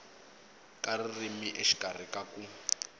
ka ririmi exikarhi ka ku